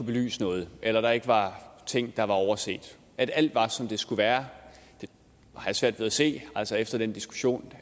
belyst noget eller at der ikke var ting der var overset og at alt var som det skulle være det har jeg svært ved at se efter den diskussion